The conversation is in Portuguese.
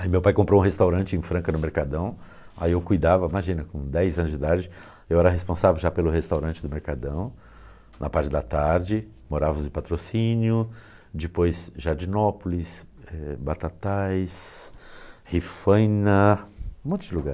Aí meu pai comprou um restaurante em Franca, no Mercadão, aí eu cuidava, imagina, com dez anos de idade, eu era responsável já pelo restaurante do Mercadão, na parte da tarde, morava sem patrocínio, depois Jardinópolis, eh, Batatais, Rifaina, um monte de lugar.